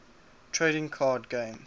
trading card game